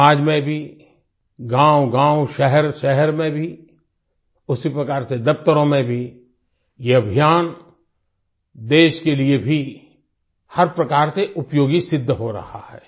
समाज में भी गाँवगाँव शहरशहर में भी उसी प्रकार से दफ्तरों में भी ये अभियान देश के लिए भी हर प्रकार से उपयोगी सिद्ध हो रहा है